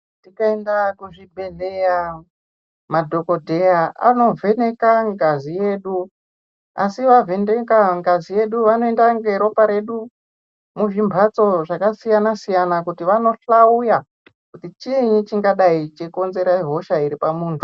Tikaenda kuzvibhedhlera, madhogodheya anovheneka ngazi yedu, asi vavheneka ngazi yedu vanoenda ngeropa redu muzvimhatso zvakasiyana-siyana kuti vando hloya kuti chiini chingadai cheikonzera hosha iri pamuntu.